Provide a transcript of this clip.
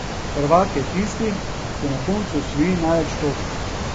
Prvak je tisti, ki na koncu osvoji največ točk.